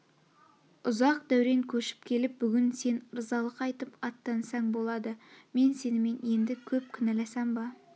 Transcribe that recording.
ұзақ дәурен кешіп келіп бүгін сен ырзалық айтып аттансаң болады мен сенімен енді кеп кінәласам ба